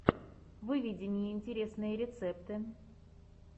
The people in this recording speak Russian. выведи мне интересные рецепты